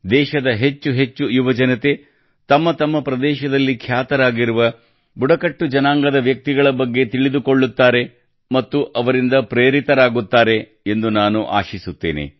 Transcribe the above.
ದೇಶದ ಹೆಚ್ಚು ಹೆಚ್ಚು ಯುವಜನತೆ ತಮ್ಮ ತಮ್ಮ ಪ್ರದೇಶದಲ್ಲಿ ಖ್ಯಾತರಾಗಿರುವ ಬುಡಕಟ್ಟು ಜನಾಂಗದ ವ್ಯಕ್ತಿಗಳ ಬಗ್ಗೆ ತಿಳಿದುಕೊಳ್ಳುತ್ತಾರೆ ಮತ್ತು ಅವರಿಂದ ಪ್ರೇರಿತರಾಗುತ್ತಾರೆ ಎಂದು ನಾನು ಆಶಿಸುತ್ತೇನೆ